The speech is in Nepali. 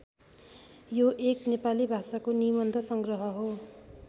यो एक नेपाली भाषाको निबन्ध सङ्ग्रह हो।